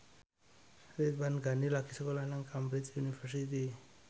Ridwan Ghani lagi sekolah nang Cambridge University